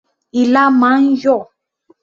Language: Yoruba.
Ilá máa ń yọ̀.